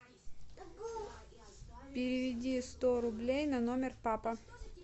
переведи сто рублей на номер папа